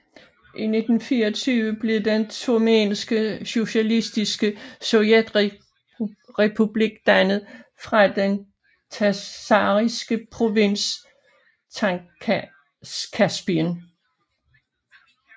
I 1924 blev Den turkmenske Socialistiske Sovjetrepublik dannet fra den tsaristiske provins Transkaspien